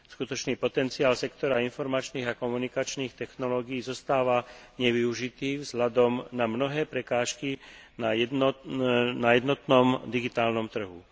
Skutočný potenciál sektora informačných a komunikačných technológií zostáva nevyužitý vzhľadom na mnohé prekážky na jednotnom digitálnom trhu.